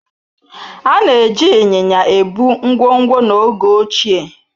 Ana eji ịnyịnya ebu ngwongwo n'oge ochie.